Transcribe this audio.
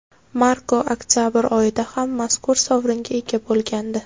Marko oktabr oyida ham mazkur sovringa ega bo‘lgandi.